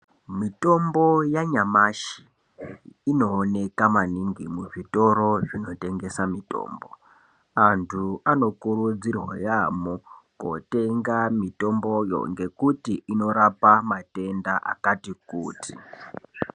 Mutombo yanyamashi inooneka maningi muzvitoro zvinotengesa mutombo anhu anokurudzirwa yaamho kotenga mutomboyo ngekuti inorapa matenda akàti kuti.